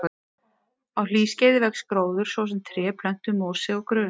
Á hlýskeiði vex gróður, svo sem tré, plöntur, mosi og grös.